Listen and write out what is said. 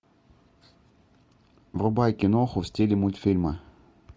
врубай киноху в стиле мультфильма